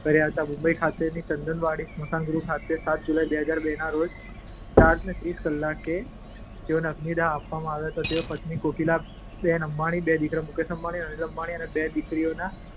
કર્યા હતા. મુંબઈ ખાતેના ચંદનવાડી સ્મશાનગૃહ ખાતે સાત જુલાઈ, બે હજાર બેના રોજ સાંજે ચાર ને ત્રીસ કલાકે તેઓને અગ્નિદાહ અપાયો હતો. તેઓ પત્ની કોકિલાબેન અંબાણી, બે દીકરાઓ મુકેશ અંબાણી અને અનિલ અંબાણી અને બે દીકરીઓના